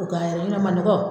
U ka manɔgɔ